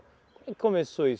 e começou isso?